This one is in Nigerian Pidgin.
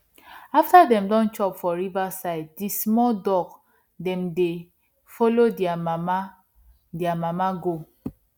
after dem don chop for river side di small duck dem dey follow dia mama dia mama go